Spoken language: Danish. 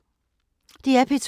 DR P2